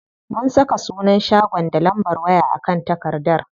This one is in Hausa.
Mun saka sunan shagon da lambar waya a kan takardar.